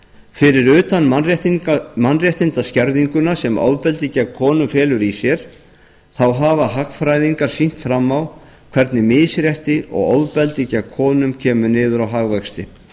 fyrir utan mannréttindaskerðinguna sem ofbeldi gegn konum felur í sér þá hafa hagfræðingar sýnt fram á hvernig misrétti og ofbeldi gegn konum niður á hagvexti